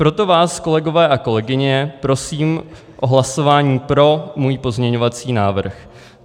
Proto vás, kolegové a kolegyně, prosím o hlasování pro můj pozměňovací návrh.